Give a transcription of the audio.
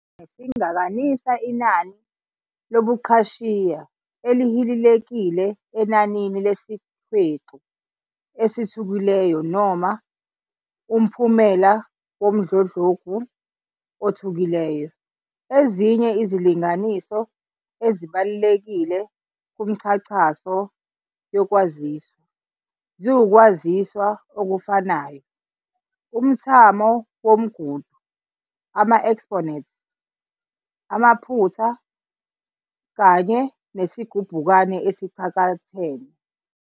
Isigubukani singakanisa inani lobuqhashiya elihilelekile enanini lesihwexu esithukelayo noma umphumela womdludlungu othukelayo. Ezinye izilinganiso ezibalulekile kumchachiso yokwaziswa, ziwukwaziswa okufanayo, umthamo womgudu, ama-exponents amaphutha, kanye nesigubukani esicakathene.